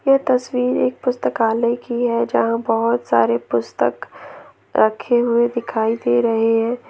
यह तस्वीर एक पुस्तकालय की है यहां बहुत सारे पुस्तक रखे हुए दिखाई दे रहे हैं।